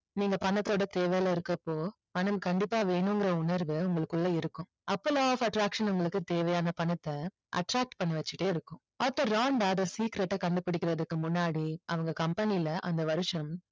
நீங்க பணத்தோட தேவையில இருக்குறப்போ பணம் கண்டிப்பா வேணுங்கற உணர்வு உங்களுக்குள்ள இருக்கும் அப்போ law of attraction உங்களுக்கு தேவையான பணத்தை attract பண்ணி வெச்சிகிட்டே இருக்கும் ஆர்தர் ராண்டா secret அ கண்டுபிடிக்கறதுக்கு முன்னாடி அவங்க company ல அந்த வருஷம்